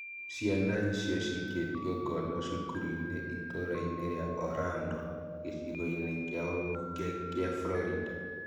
Cĩana icio cikĩtio ngono cukuru-inĩ itũũra-inĩ rĩa Orlando, gĩcigo-inĩ kia ũmbunge kia Florida